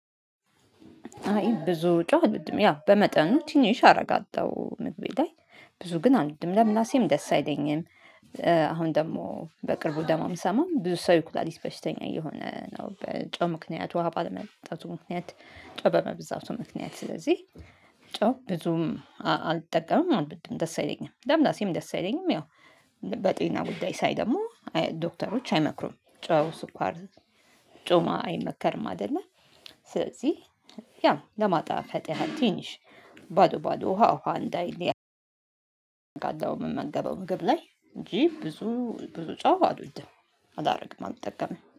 አይ ብዙ ጨው አልወድም በመጠኑ ትንሽ አደረጋለሁ ምግቤ ላይ ብዙ ግን አልወድም ለምላሴም ደስ አይለኝም። አሁን ደግሞ በቅርቡ የምሰማው ብዙ ሰው የኩላሊት በሽተኛ እየሆነ ነው በጨው ምክንያት ውሃ ባለመጠጣቱ ምክንያት ጨው በመብዛቱ ምክንያት ስለዚህ ጨው ብዙም አልጠቀምም አልወድም ደስ አይለኝም ለምላሴም ደስ አይለኝም ያው በጤና ጉዳይ ሳይ ደግሞ ዶክተሮች አይመክሩም። ጮማ አይመከርም አይደለ ስለዚህ ያው ለማጣፈጥ ያህል ትንሽ ባዶ ባዶ ውሃ ውሃ እንዳይል አደርጋለሁ። የምመገበው ምግብ ላይ እንጂ ብዙ ብዙ ጨው አልወድም። አላደርግም አልጠቀምም